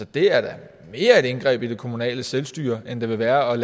det er da mere et indgreb i det kommunale selvstyre end det vil være at